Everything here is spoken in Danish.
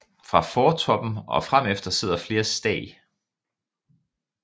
Fra fortoppen og fremefter sidder flere stag